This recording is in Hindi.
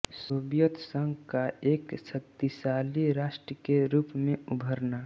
सोवियत संघ का एक शक्तिशाली राष्ट्र के रूप में उभरना